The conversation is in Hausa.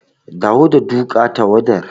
Dawo da duka tawwadar.